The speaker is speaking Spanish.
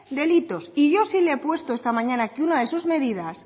delitos y yo sí le he puesto esta mañana que una de sus medidas